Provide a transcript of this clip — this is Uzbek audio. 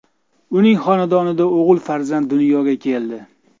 Uning xonadonida o‘g‘il farzand dunyoga keldi.